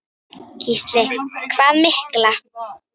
Gísli: Hvað mikla?